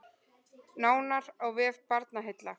Nánar á vef Barnaheilla